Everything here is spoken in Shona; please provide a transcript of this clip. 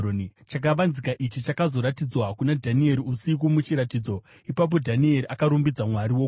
Chakavanzika ichi chakazoratidzwa kuna Dhanieri usiku muchiratidzo. Ipapo Dhanieri akarumbidza Mwari wokudenga